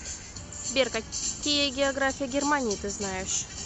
сбер какие география германии ты знаешь